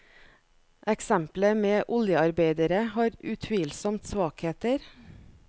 Eksemplet med oljearbeidere har utvilsomt svakheter.